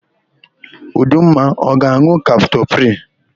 Udumma ọ ga-an̄ụ kaptopril?